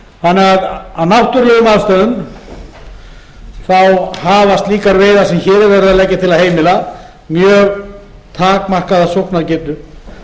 þannig að af náttúrulegum aðstæðum hafa slíkar veiðar sem hér er verið að leggja til að heimila mjög takmarkaða sóknargetu og